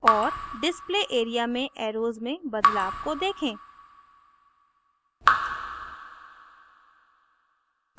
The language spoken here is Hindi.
और display area में एर्रोस में बदलाव को देखें